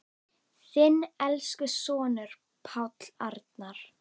Þinn elsku sonur, Páll Arnar.